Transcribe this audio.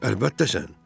Əlbəttə sən.